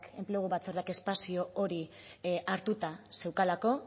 enplegu batzordeak espazio hori hartuta zeukalako